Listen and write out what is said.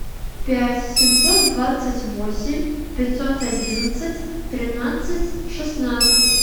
пять семьсот двадцать восемь пятьсот одиннадцать тринадцать шестнадцать